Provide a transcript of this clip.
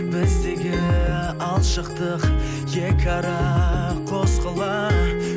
біздегі алшақтық екі ара қос қала